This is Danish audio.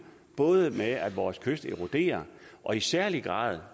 både med at vores kyster eroderer og i særlig grad